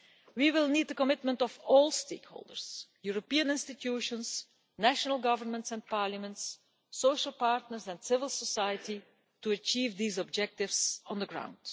We will need the commitment of all stakeholders European institutions, national governments and parliaments, social partners and civil society to achieve these objectives on the ground.